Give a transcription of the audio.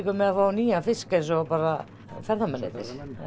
með að fá nýjan fisk eins og ferðamennirnir